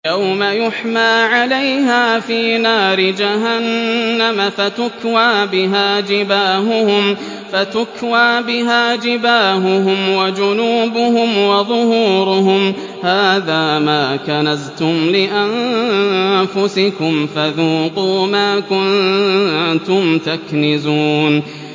يَوْمَ يُحْمَىٰ عَلَيْهَا فِي نَارِ جَهَنَّمَ فَتُكْوَىٰ بِهَا جِبَاهُهُمْ وَجُنُوبُهُمْ وَظُهُورُهُمْ ۖ هَٰذَا مَا كَنَزْتُمْ لِأَنفُسِكُمْ فَذُوقُوا مَا كُنتُمْ تَكْنِزُونَ